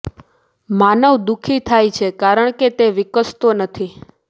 માનવ દુઃખી થાય છે કારણ કે તે વિકસતો નથી